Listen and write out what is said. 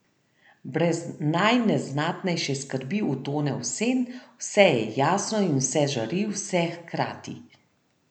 Brez najneznatnejše skrbi utone v sen, vse je jasno in vse žari, vse hkrati.